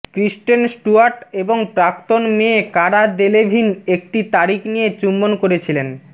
ক্রিস্টেন Stewart এবং প্রাক্তন মেয়ে কারা দেলেভিন একটি তারিখ নিয়ে চুম্বন করেছিলেন